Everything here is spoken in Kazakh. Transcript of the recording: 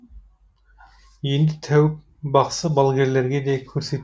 енді тәуіп бақсы балгерлерге де көрсет